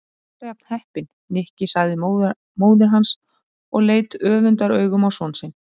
Þú ert alltaf jafn heppinn, Nikki sagði móðir hans og leit öfundaraugum á son sinni.